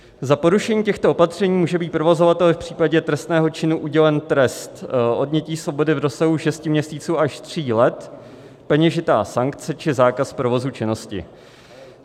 Za porušení těchto opatření může být provozovateli v případě trestného činu udělen trest odnětí svobody v rozsahu 6 měsíců až 3 let, peněžitá sankce či zákaz provozu činnosti.